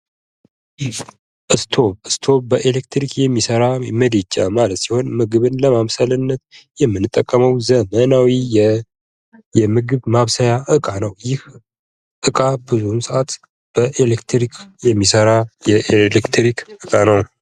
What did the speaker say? ስቶቭ፦ ስቶቭ በኤሌክትሪክ የሚሰራ ምድጃ ማለት ሲሆን ምግብን ለማብሰል የምንጠቀመው በኤሌክትሪክ የሚሠራ ዘመናዊ የምግብ ማብሰያ ዕቃ ነው ፤ በኤሌክትሪክ የሚሠራ ዘመናዊ ዕቃ ነው።